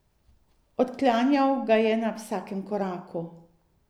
Odklanjal ga je na vsakem koraku.